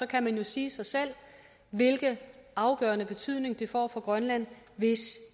kan man jo sige sig selv hvilken afgørende betydning det får for grønland hvis